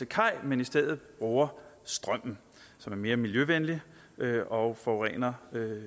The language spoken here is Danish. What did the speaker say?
kaj men i stedet bruger strøm som er mere miljøvenlig og forurener